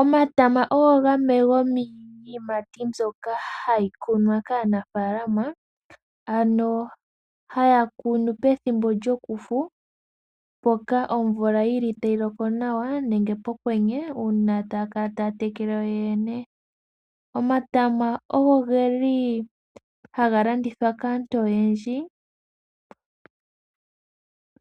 Omatama ogo gamwe gomiiyimati mbyoka hayi kunwa kaanafaalama, ano haya kunu pethimbo lyokufu mpoka omvula tayi loko nawa nenge pokwenye uuna taya kala taya tekele yoyene. Omatama oge li haga landithwa kaantu oyendji,